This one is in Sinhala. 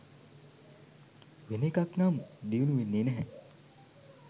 වෙන එකක් නම් දියුණු වෙන්නේ නැහැ.